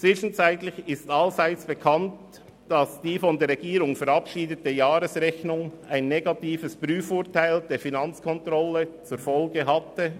Zwischenzeitlich ist allseits bekannt, dass die von der Regierung verabschiedete Jahresrechnung ein negatives Prüfurteil der Finanzkontrolle zur Folge hatte.